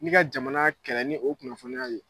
N'i ka jamana kɛlɛ ni o kunnafoniyaw ye